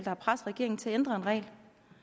har presset regeringen til at ændre en regel